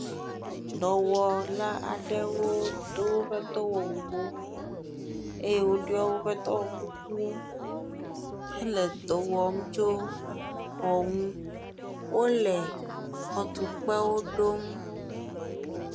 Dɔwɔla aɖewo do woƒe dɔwɔwuwo eye woɖiɔ woƒe dɔwɔkukuwo hele dɔ wɔm tso xɔ ŋu. wole xɔtukpewo ɖom.